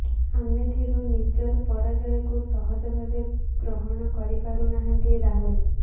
ଆମେଥିରୁ ନିଜର ପରାଜୟକୁ ସହଜ ଭାବେ ଗ୍ରହଣ କରିପାରୁ ନାହାନ୍ତି ରାହୁଲ